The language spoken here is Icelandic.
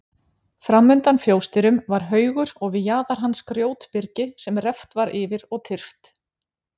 Framundan fjósdyrum var haugur og við jaðar hans grjótbyrgi sem reft var yfir og tyrft.